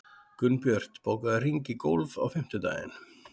Gunnbjört, bókaðu hring í golf á fimmtudaginn.